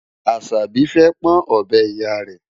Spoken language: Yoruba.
Àṣàbí fẹ́ pọ́n ọ̀bẹ Ìyá rẹ̀.